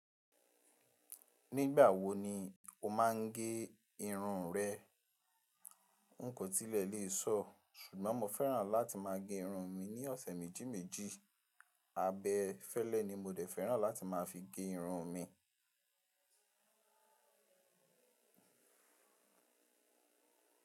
Nígbà wo ni o má a ń gé irun rẹ? N kò tilẹ̀ lè sọ̀, ṣùgbọ́n mo fẹ́ràn láti má a gé irun mi ní ọ̀sẹ̀ méjì méjì. Abẹ fẹlẹ ni mo dẹ̀ fẹ́ràn láti má a fi gé irun mi.